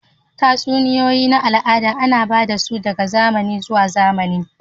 Tatsuniyoyi na al'ada ana ba da su daga zamani zuwa wani zamanin